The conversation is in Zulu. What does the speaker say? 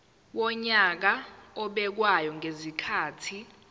wonyaka obekwayo ngezikhathi